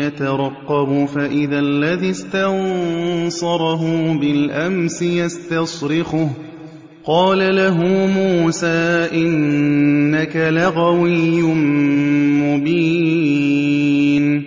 يَتَرَقَّبُ فَإِذَا الَّذِي اسْتَنصَرَهُ بِالْأَمْسِ يَسْتَصْرِخُهُ ۚ قَالَ لَهُ مُوسَىٰ إِنَّكَ لَغَوِيٌّ مُّبِينٌ